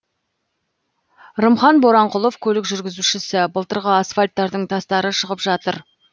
рымхан боранқұлов көлік жүргізушісі былтырғы асфальттардың тастары шығып жатыр